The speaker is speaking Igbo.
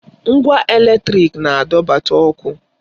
Ngwa èlétrị̀k na-adọbata ọkụ.